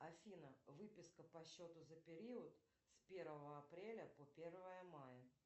афина выписка по счету за период с первого апреля по первое мая